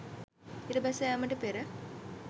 ඉර බැස යාමට පෙර